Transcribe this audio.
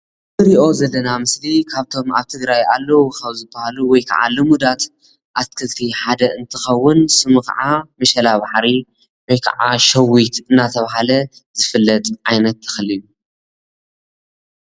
እዚ እንሪኦ ዘለና ምስሊ ካብቶም ኣብ ትግራይ ኣለው ካብ ዝብሃሉ ወይ ክዓ ልሙዳት ኣትክልቲ ሓደ እንትኸውን ስሙ ክዓ ምሸላ ባሕሪ ወይ ክዓ ሸዊት እናተብሃለ ዝፍለጥ ዓይነት ተኽሊ እዩ።